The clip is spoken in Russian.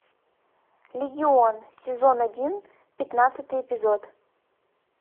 легион сезон один пятнадцатый эпизод